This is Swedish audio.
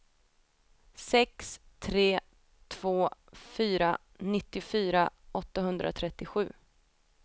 sex tre två fyra nittiofyra åttahundratrettiosju